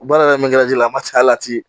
U baara kɛ la a ma ci halati